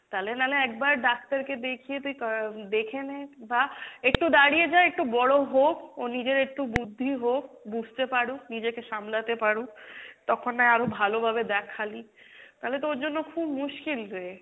তালে নালে একবার ডাক্তার কে দেখিয়ে তুই উম দেখে নে বা একটু দাড়িয়ে যা একটু বড়ো হোক ওর নিজের একটু বুদ্ধি হোক, বুঝতে পারুক, নিজেকে সামলাতে পারুক তখন না হয় আরও ভালো ভাবে দেখালি, তালে তো ওর জন্য খুব মুশকিল রে।